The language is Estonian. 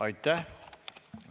Aitäh!